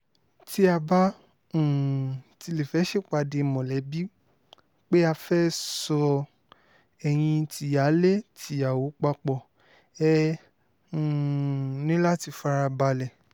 tí a bá um tilẹ̀ fẹ́ẹ́ ṣèpàdé mọ̀lẹ́bí pé á fẹ́ẹ́ sọ ẹyin tìyáálé tìyàwó papọ̀ ẹ̀ um ni láti fara balẹ̀